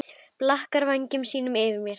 Blakar vængjum sínum yfir mér.